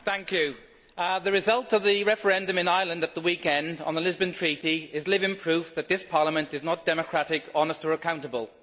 Mr President, the result of the referendum in Ireland at the weekend on the Lisbon Treaty is living proof that this Parliament is not democratic, honest or accountable.